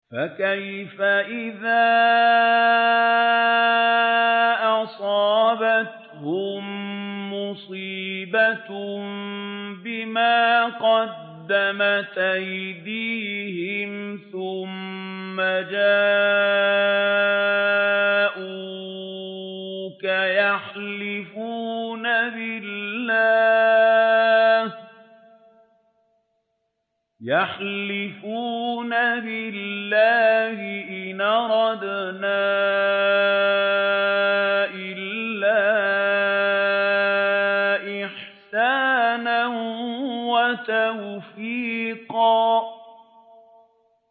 فَكَيْفَ إِذَا أَصَابَتْهُم مُّصِيبَةٌ بِمَا قَدَّمَتْ أَيْدِيهِمْ ثُمَّ جَاءُوكَ يَحْلِفُونَ بِاللَّهِ إِنْ أَرَدْنَا إِلَّا إِحْسَانًا وَتَوْفِيقًا